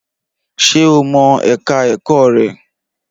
Ṣé o mọ ẹ̀ka ẹ̀kọ́ rẹ̀?